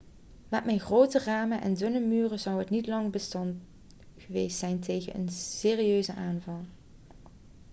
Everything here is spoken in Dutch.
met zijn grote ramen en dunne muren zou het niet lang bestand geweest zijn tegen een serieuze aanval